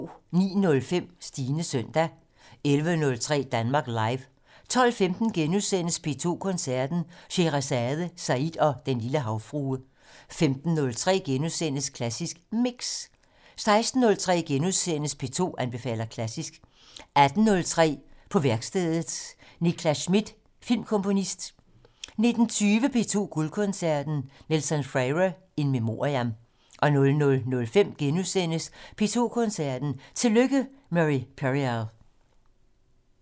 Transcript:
09:05: Stines søndag 11:03: Danmark Live 12:15: P2 Koncerten - Sheherazade, Said og Den Lille Havfrue * 15:03: Klassisk Mix * 16:03: P2 anbefaler klassisk * 18:03: På værkstedet - Nicklas Schmidt, filmkomponist 19:20: P2 Guldkoncerten - Nelson Freire in memoriam 00:05: P2 Koncerten - Tillykke, Murray Perahia! *